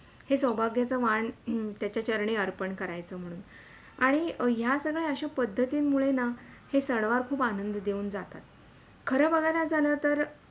हे सौभाग्याच वाण त्याचा चरणी अर्पण करायचं म्हणूण आणि ह्या सगळ्या अश्या पद्धतीन मुळे ना हे सणवार खूप आनंद देऊन जातात. खर बघायला झालं तर